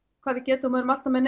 hvað við getum og erum alltaf með